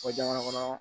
Fɔ jamana kɔnɔ